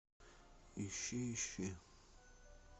ищи ищи